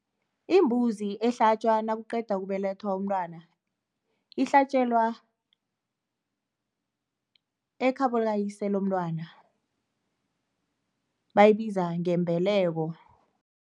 Imbuzi ehlatjwa nokuqeda ukubelethwa umntwana ihlatjelwa ekhabo likayise lomntwana, bayibiza ngembeleko.